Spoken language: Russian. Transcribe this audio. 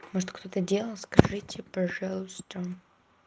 может кто-то делал скажите пожалуйста